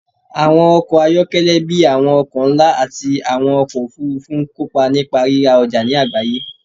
Àwọn ọkọ̀ ayọ́kẹ́lẹ́ bíi àwọn ọkọ̀ ńlá àti àwọn ọkọ̀ òfuurufú ń kópa nípa rírà ọjà ní agbaye